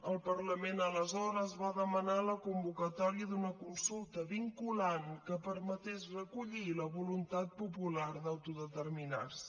el parlament aleshores va demanar la convocatòria d’una consulta vinculant que permetés recollir la voluntat popular d’autodeterminar se